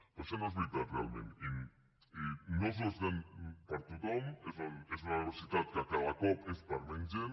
però això no és veritat realment i no és una universitat per a tothom és una universitat que cada cop és per a menys gent